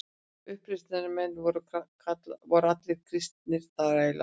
Uppreisnarmenn voru allir kristnir þrælar.